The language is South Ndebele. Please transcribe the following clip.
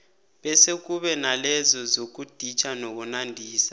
bese kube nalezo zokuditjha nokunandisa